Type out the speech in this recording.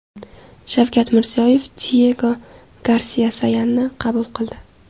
Shavkat Mirziyoyev Diyego Garsiya-Sayanni qabul qildi.